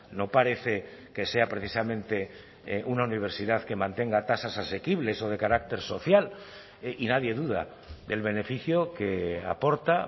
no parece que sea precisamente una universidad que mantenga tasas asequibles o de carácter social y nadie duda del beneficio que aporta